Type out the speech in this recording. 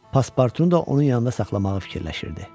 Paspartunu da onun yanında saxlamağı fikirləşirdi.